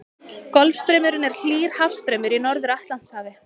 Golfstraumurinn er hlýr hafstraumur í Norður-Atlantshafi.